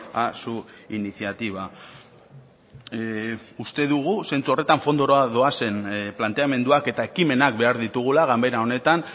a su iniciativa uste dugu zentzu horretan fondora doazen planteamenduak eta ekimenak behar ditugula ganbera honetan